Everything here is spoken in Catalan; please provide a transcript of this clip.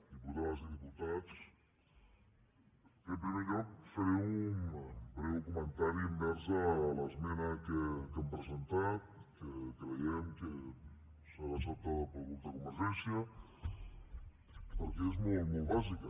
diputades i diputats en primer lloc faré un breu comentari envers a l’esmena que hem presentat que creiem que serà acceptada pel grup de convergència perquè és molt molt bàsica